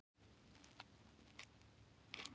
Mig vantar eitthvað til að hlýja mér á.